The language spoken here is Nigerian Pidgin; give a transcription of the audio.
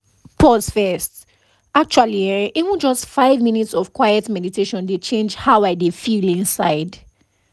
pause first — actually[um]even just five minutes of quiet meditation dey change how i feel inside